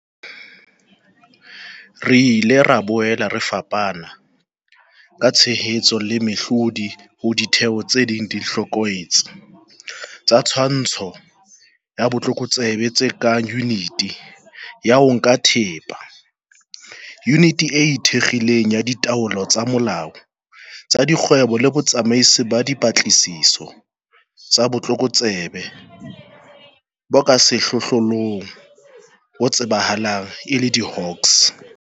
Re ile ra boela re fana ka tshehetso le mehlodi ho ditheo tse ding tse hlokolotse tsa twantsho ya botlokotsebe tse kang Yuniti ya ho Nka Thepa, Yuniti e Ikgethileng ya Ditlolo tsa Molao tsa Dikgwebo le Botsamaisi ba Dipatlisiso tsa Botlokotsebe bo ka Sehlohlolong, bo tsebahalang e le diHawks.